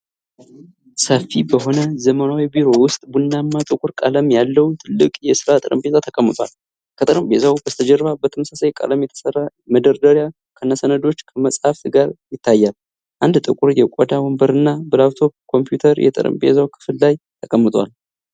ሰፊ በሆነ ዘመናዊ ቢሮ ውስጥ ቡናማና ጥቁር ቀለም ያለው ትልቅ የሥራ ጠረጴዛ ተቀምጧል። ከጠረጴዛው በስተጀርባ በተመሳሳይ ቀለም የተሠራ መደርደሪያ ከሰነዶችና ከመጻሕፍት ጋር ይታያል። አንድ ጥቁር የቆዳ ወንበርና በላፕቶፕ ኮምፒውተር የጠረጴዛው ክፍል ላይ ተቀምጠዋል።